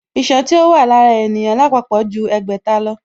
Iṣan tí ó wà lára ènìyàn lápapọ̀ ju ẹgbẹ̀ta lọ